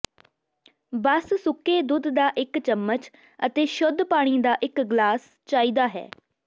ਬਸ ਸੁੱਕੇ ਦੁੱਧ ਦਾ ਇਕ ਚਮਚ ਅਤੇ ਸ਼ੁੱਧ ਪਾਣੀ ਦਾ ਇੱਕ ਗਲਾਸ ਚਾਹੀਦਾ ਹੈ